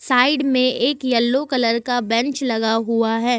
Side में एक yellow colour का बेंच लगा हुआ है।